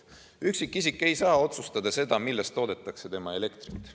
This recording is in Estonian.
Üksikisik ei saa otsustada, millest toodetakse tema kasutatavat elektrit.